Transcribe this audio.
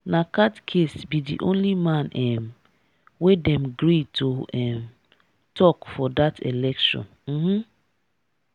na catchiest be di only man um wey them gree to um talk for that election. um